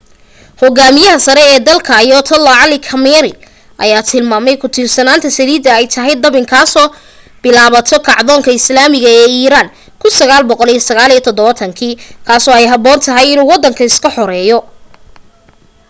hogaamiyaha sare ee dalka ayatollah ali khamenei ayaa tilmaamay ku tiirsanaanta saliida ay tahay dabin kasoo bilaabato kacdoonka islaamiga ee iran ee 1979 kaasoo ay haboon tahay inuu wadanka iska xoreeyo